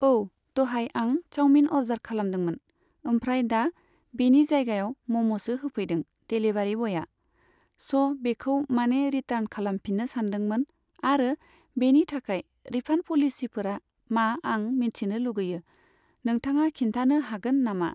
औ, दहाय आं चाउमिन अर्डार खालामदोंमोन। ओमफ्राय दा बेनि जायगायाव म'म'सो होफैदों देलिभारि बयआ। स' बेखौ माने रिटार्न खालामफिननो सानदोंमोन आरो बेनि थाखाय रिफान्ड पलिसिफोरा मा आं मिन्थिनो लुगैयो। नोंथाङा खिन्थानो हागोन नामा?